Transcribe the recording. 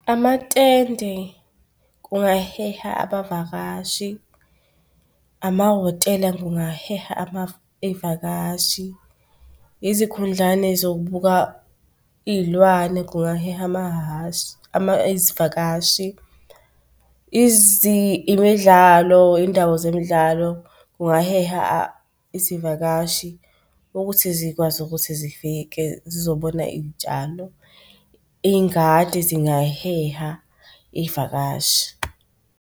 Amatende kungaheha abavakashi, amahhotela kungaheha iy'vakashi, izikhundlane zokubuka iy'lwane kungaheha amahhashi izivakashi, iy'ndawo zemidlalo kungaheha izivakashi, ukuthi zikwazi ukuthi zifike zizobona iy'tshalo, iy'ngadi zingaheha iy'vakashi.